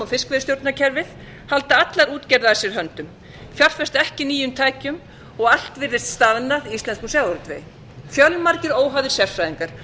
fiskveiðistjórnarkerfið halda allar útgerðir að sér höndum fjárfesta ekki í nýjum tækjum og allt virðist staðnað í íslenskum sjávarútvegi fjölmargir óhæfir sérfræðingar